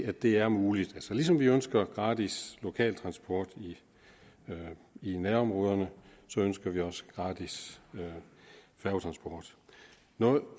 at det er muligt ligesom vi ønsker gratis lokaltransport i nærområderne ønsker vi også gratis færgetransport